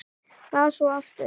Las svo aftur.